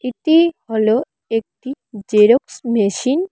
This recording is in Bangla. এটি হলো একটি জেরক্স মেশিন ।